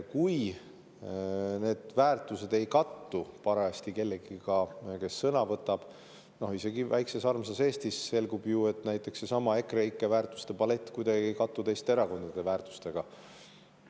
Kui need väärtused ei kattu parajasti kellegi omadega, kes sõna võtab – no isegi väikses armsas Eestis on ju selgunud, näiteks seesama EKREIKE väärtuste palett kuidagi ei kattu teiste erakondade väärtustega.